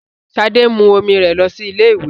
Sade ń mú ọmọ rẹ lọ sí ilé-ìwé